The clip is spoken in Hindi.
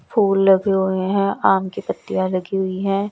फूल लगे हुए हैं आम की पत्तियां लगी हुई हैं।